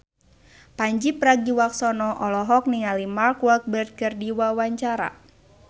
Pandji Pragiwaksono olohok ningali Mark Walberg keur diwawancara